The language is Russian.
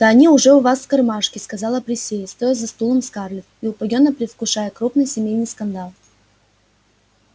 да они уже у вас в кармашке сказала присей стоя за стулом скарлетт и упоенно предвкушая крупный семейный скандал